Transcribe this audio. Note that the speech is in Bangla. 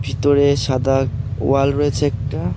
ভিতরে সাদা ওয়াল রয়েছে একটা।